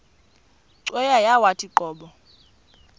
cweya yawathi qobo